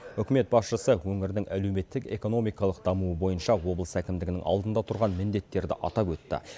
үкімет басшысы өңірдің әлеуметтік экономикалық дамуы бойынша облыс әкімдігінің алдында тұрған міндеттерді атап өтті